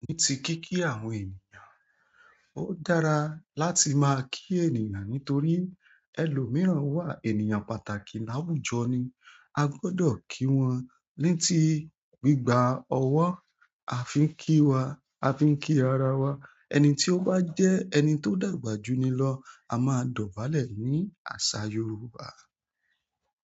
Ní ti kí kí àwọn ènìyàn. Ó dára láti máa kí ènìyàn nítorí ẹlòmíràn wà ènìyàn pàtàkì láwùjọ ni. A gbọdọ̀ kí wọn ní ti gbígba ọwọ́, a fi ń kí wa, a fi ń kí ara wa. Ẹni tí ó bá jẹ́ ẹni tó dàgbà jùni lọ a máa dọ̀bálẹ̀ ní àṣà Yorùbá.